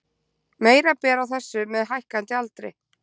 Meira ber á þessu með hækkandi aldri.